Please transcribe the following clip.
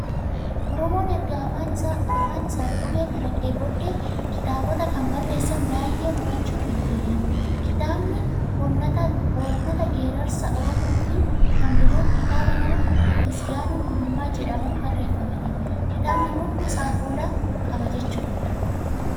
Oromoon erga afaan isaaf qubee kalaqee booddee, kitaabota kan barreessan baay'ee horachuu danda'eera. Kitaabni Oonnata Geerarsa Oromoo fi kan Biroon, kitaaba nama Misgaanuu Gulummaa jedhamuun barreeffamedha. Kitaabni kun gosa afoolaa qaba jechuudha.